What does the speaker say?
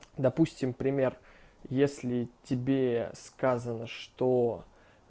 допустим пример если тебе сказано что